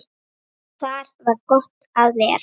Þar var gott að vera.